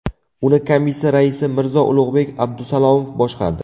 Uni komissiya raisi Mirzo-Ulug‘bek Abdusalomov boshqardi.